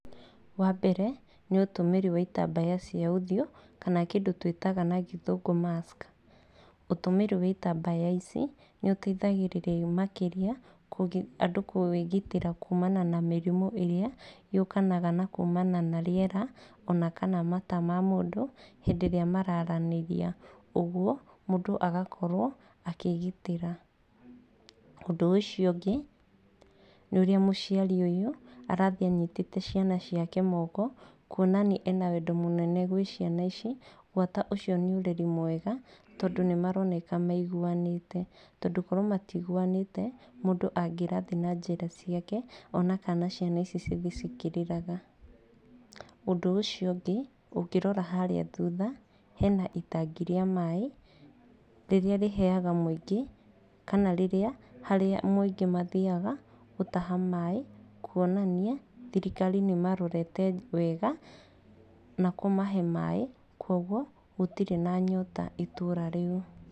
Wa mbere nĩ ũtũmĩri wa itambaya cia ũthiũ, kana kĩndũ twĩtaga na gĩthũngũ mask, ũtũmĩri wa itambaya ici nĩ ũteithagĩrĩria makĩria kũgi andũ kwĩgitĩra kuumana na míĩrimũ ĩrĩa yokanaga na kuumana na rĩera, onakana mata ma mũndũ hĩndĩ ĩrĩa mararanĩria, ũguo mũndũ agakorwo akĩgitĩra, ũndũ ũcio ũngĩ nĩ ũrĩa mũciari ũyũ arathiĩ anyitĩte ciana ciake moko, kuonania arĩ na wendo mũnene gwĩ ciana ici, gwata ũcio nĩ ũreri mwega, tondũ nĩ maroneka maiguwanĩte, tondũ korwo matiguwanĩte mũndũ angĩrathiĩ na njĩra ciake, onakana ciana ici cithi cikĩrĩraga, ũndũ ũcio ũngĩ ũngĩrora harĩa thutha, hena itangi rĩa maĩ, rĩrĩa rĩheyaga mwĩingĩ, kana rĩrĩa harĩa mwĩingĩ mathiaga gũtaha maĩ, kuonania thirikari nĩmarorete wega na kũmahe maĩ, kwoguo gũtirĩ na nyota itũra rĩu.